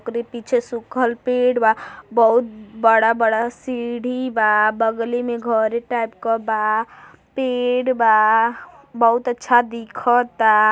ओकरे पीछे सुखल पेड़ बा। बहुत बड़ा-बड़ा सीढ़ी बा बगली में घरे टाइप क बा। पेड़ बा बहुत अच्छा दिखता।